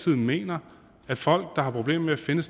mener at folk der har problemer med at finde